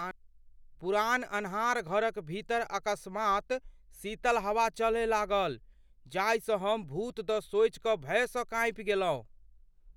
पुरान आन्हर घरक भीतर अकस्मात् शीतल हवा चलय लागल, जाहिसँ हम भूत द सोचि कऽ भयसँ काँपि गेलहुँ।